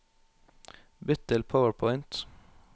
Bytt til PowerPoint